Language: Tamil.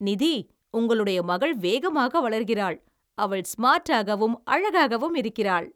நிதி, உங்களுடைய மகள் வேகமாக வளர்கிறாள். அவள் ஸ்மார்ட்டாகவும் அழகாகவும் இருக்கிறாள்.